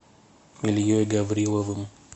ильей гавриловым